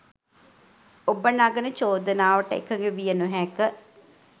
ඔබ නගන චෝදනාවට එකඟ විය නොහැක.